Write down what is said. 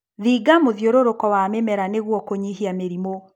Thinga mũthiũrũrũko wa mĩmera nĩguo kũnyihia mĩrĩmũ.